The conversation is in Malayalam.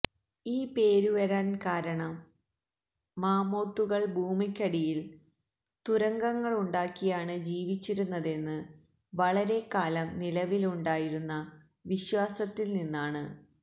ഈ പേരു വരാൻ കാരണം മാമോത്തുകൾ ഭൂമിക്കടിയിൽ തുരങ്കങ്ങളുണ്ടാക്കിയാണ് ജീവിച്ചിരുന്നതെന്ൻ വളരെക്കാലം നിലവിലുണ്ടായിരുന്ന വിശ്വാസത്തിൽ നിന്നാണ്